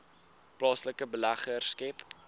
plaaslike beleggers skep